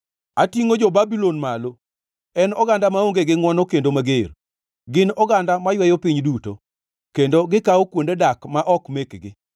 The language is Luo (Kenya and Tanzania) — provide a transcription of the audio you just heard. Atingʼo jo-Babulon malo, en oganda maonge gi ngʼwono kendo mager, gin oganda mayweyo piny duto kendo gikawo kuonde dak ma ok mekgi.